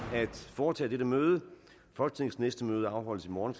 at foretage i dette møde folketingets næste møde afholdes i morgen